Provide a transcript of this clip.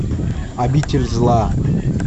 обитель зла